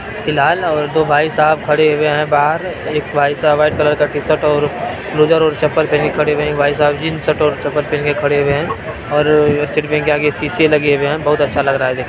ये लाल और दो भाई साहब खड़े हुए हैं बाहर एक भाई साहब रेड कलर का टी-शर्ट और लोवर और चप्पल पहन कर खड़े हैं| भाई साहब जीन्स और में खड़े हुए हैं और के आगे शीशे लगे हुए हैं| बहुत अच्छा लग रहा है देखने--